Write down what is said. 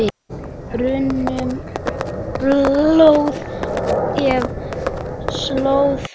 rennur blóð eftir slóð